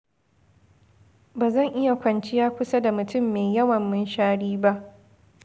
Ba zan iya kwanciya kusa da matum mai yawan munshari ba